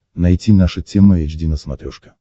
найти наша тема эйч ди на смотрешке